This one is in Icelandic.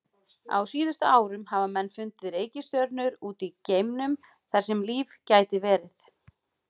Á síðustu árum hafa menn fundið reikistjörnur út í geimnum þar sem líf gæti verið.